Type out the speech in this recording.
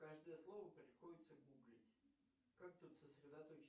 каждое слово приходится гуглить как тут сосредоточиться